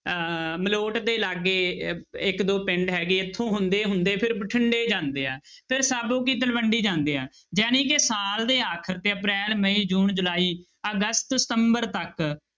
ਅਹ ਮਲੋਟ ਦੇ ਲਾਗੇ ਅਹ ਇੱਕ ਦੋ ਪਿੰਡ ਹੈਗੇ ਇੱਥੋਂ ਹੁੰਦੇ ਹੁੰਦੇ ਫਿਰ ਬਠਿੰਡੇ ਜਾਂਦੇ ਆ ਫਿਰ ਸਾਬੋ ਕੀ ਤਲਵੰਡੀ ਜਾਂਦੇ ਆ ਜਾਣੀ ਕਿ ਸਾਲ ਦੇ ਆਖਰ ਤੇ ਅਪ੍ਰੈਲ, ਮਈ, ਜੂਨ, ਜੁਲਾਈ, ਅਗਸਤ, ਸਤੰਬਰ ਤੱਕ